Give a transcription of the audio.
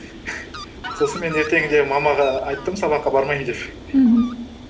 сосын мен ертеңінде мамаға айттым сабаққа бармаймын деп мхм